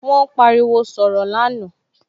Wón pariwo sọ̀rọ̀ lánàá